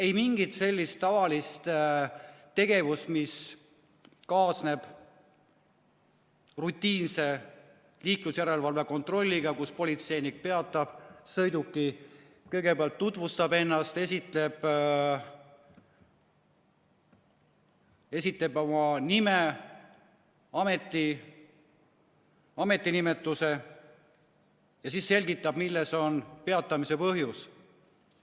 Ei mingit sellist tavalist tegevust, mis kaasneb rutiinse liiklusjärelevalve kontrolliga, kus politseinik peatab sõiduki, kõigepealt tutvustab ennast, esitab oma nime, ametinimetuse ja siis selgitab, milles on peatamise põhjus.